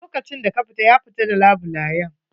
A lokacin da ka fita, ya fita d labulayen.